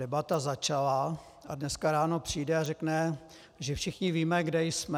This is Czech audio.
Debata začala, a dneska ráno přijde a řekne, že všichni víme, kde jsme.